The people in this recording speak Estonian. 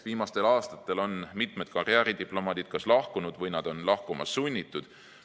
Viimastel aastatel on mitmed karjääridiplomaadid kas lahkunud või nad on olnud lahkuma sunnitud.